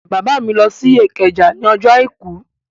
Bàbá mi lọ sí Ìkẹjà ní ọjọ́ àìkú